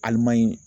Alimayi